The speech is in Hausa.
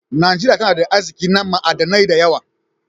Najeriya tana da arzikin na ma'adanai da yawa.